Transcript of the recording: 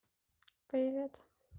привет